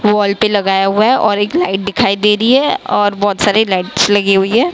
Wall पे लगाया हुआ है और एक लाइट दिखाई दे रही है और बहोत सारे लाइट्स लगी हुई है।